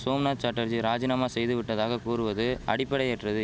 சோம்நாத் சாட்டர்ஜி ராஜினாமா செய்து விட்டதாக கூறுவது அடிப்படையற்றது